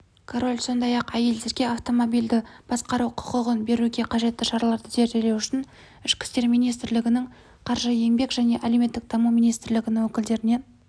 король сондай-ақ әйелдерге автомобильді басқару құқығын беруге қажетті шараларды зерделеу үшін ішкі істер министрлігінің қаржы еңбек және әлеуметтік даму министрлігінің өкілдерінен